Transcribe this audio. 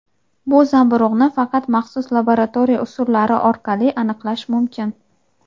bu zamburug‘ni faqat maxsus laboratoriya usullari orqali aniqlash mumkin.